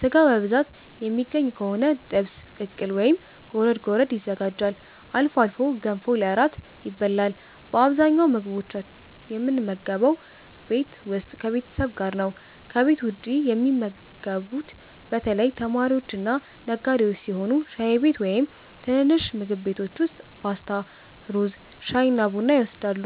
ሥጋ በብዛት የሚገኝ ከሆነ ጥብስ፣ ቅቅል ወይም ጎረድ ጎረድ ይዘጋጃል። አልፎ አልፎ ገንፎ ለእራት ይበላል። በአብዛኛው ምግቦችን የምንመገበው ቤት ውስጥ ከቤተሰብ ጋር ነው። ከቤት ውጭ የሚመገቡት በተለይ ተማሪዎችና ነጋዴዎች ሲሆኑ ሻይ ቤት ወይም ትንንሽ ምግብ ቤቶች ውስጥ ፓስታ፣ ሩዝ፣ ሻይና ቡና ይወስዳሉ።